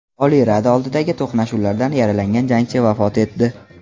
Oliy Rada oldidagi to‘qnashuvlarda yaralangan jangchi vafot etdi.